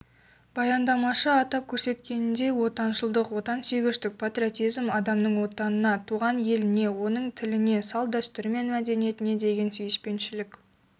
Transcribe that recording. баяндамашы атап көрсеткеніндей отаншылық отансүйгіштік патриотизм адамның отанына туған еліне оның тіліне салт-дәстүрі мен мәдениетіне деген сүйіспеншілік